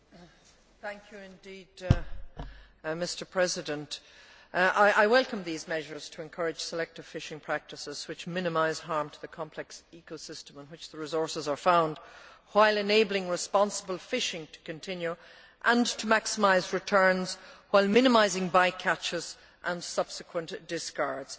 Mr President, I welcome these measures to encourage selective fishing practices, which minimise harm to the complex ecosystem in which the resources are found, while enabling responsible fishing to continue, and to maximise returns while minimising by catches and subsequent discards.